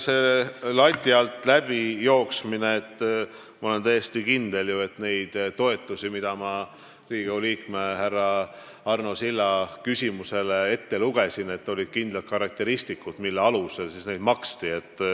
Selle lati alt läbijooksmise kohta, ma olen täiesti kindel, et nendel toetustel, mille suuruse ma Riigikogu liikme härra Arno Silla küsimusele vastates ette lugesin, olid kindlad karakteristikud, mille alusel neid maksti.